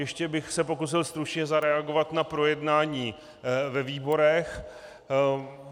Ještě bych se pokusil stručně zareagovat na projednání ve výborech.